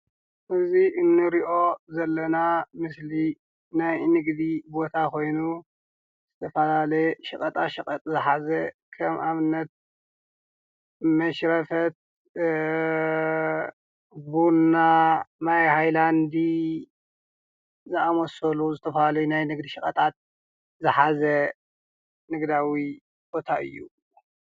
እዚ ንርኦ ዘለና ምስሊ ናይ ንግድ ቦታ ኮይኑ ዝተፈላለየ ሽቐጣ ሸቕጥ ዝሓዘ ከም ኣብነት መሽረፈት ፣ቡና ፣ማይሃይላንድ ፣ዝኣመሰሉ ዝተፈላለዩ ናይ ንግድ ሸቐጣት ዝሓዘ ንግዳዊ ቦታ እዩ።